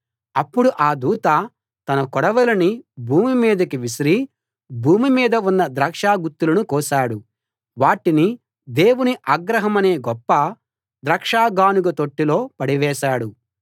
అప్పుడు ఆ దూత తన కొడవలిని భూమి మీదికి విసిరి భూమిమీద ఉన్న ద్రాక్షగుత్తులను కోశాడు వాటిని దేవుని ఆగ్రహమనే గొప్ప ద్రాక్ష గానుగ తొట్టిలో పడవేశాడు